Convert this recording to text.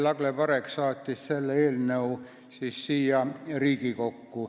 Lagle Parek saatis selle eelnõu siia Riigikokku.